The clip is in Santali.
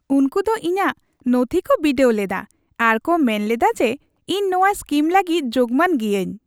ᱩᱱᱠᱩ ᱫᱚ ᱤᱧᱟᱹᱜ ᱱᱚᱛᱷᱤ ᱠᱚ ᱵᱤᱰᱟᱹᱣ ᱞᱮᱫᱟ ᱟᱨ ᱠᱚ ᱢᱮᱱ ᱞᱮᱫᱟ ᱡᱮ ᱤᱧ ᱱᱚᱶᱟ ᱥᱠᱤᱢ ᱞᱟᱹᱜᱤᱫ ᱡᱳᱜᱢᱟᱱ ᱜᱤᱭᱟᱹᱧ ᱾